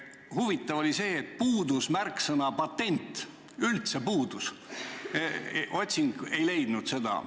Huvitav oli see, et sealt puudus üldse märksõna "patent", otsing ei leidnud seda.